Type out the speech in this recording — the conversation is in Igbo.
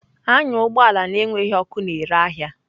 Anya ụgbọ ala na-enweghị ọkụ na-ere ahịa!